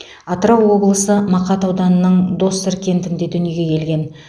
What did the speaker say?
атырау облысы мақат ауданының доссор кентінде дүниеге келген